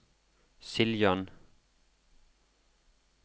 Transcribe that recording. Siljan